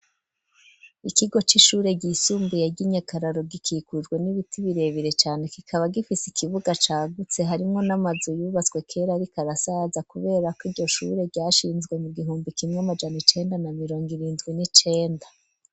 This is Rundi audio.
Ikigo c'ishure ryisumbuye ry'i nyakararo gikikujwe n'ibiti birebere cyane kikaba gifise ikibuga cagutse harimwo n'amazu yubatswe kera ariko arasaza kubera ko iryo shure ryashinzwe mu gihumbi kimwe n'amajana icenda na mirongo irindwi n'icenda.